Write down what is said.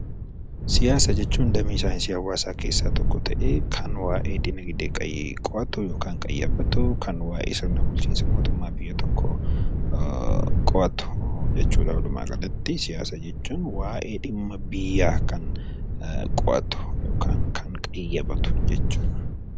Siyaasa jechuun damee saayinsii hawaasaa keessaa tokko ta'ee kan waayee dinagdee qo'atu yommuu ta'u kan waayee sirna bulchiinsa mootummaa biyya tokkoo qo'atu jechuudha. Walumaa galatti siyaasa jechuun waayee dhimma biyyaa kan qo'atu jechuudha .